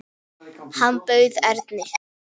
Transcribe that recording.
Hann bauð Erni.